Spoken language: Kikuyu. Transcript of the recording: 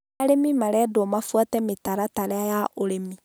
Arĩmi marendwo mabuate mitaratara ya ũrĩmi